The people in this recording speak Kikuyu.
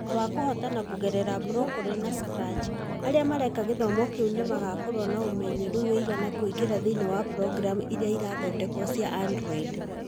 Thutha wa kũhootana kũgerera Blockly na Scratch, arĩa mareka gĩthomo kĩu nĩ magakorũo na ũmenyeru ũigana kũingĩra thĩinĩ wa programu iria ithondeketwo cia Android